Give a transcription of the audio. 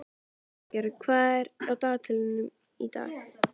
Hildigerður, hvað er á dagatalinu í dag?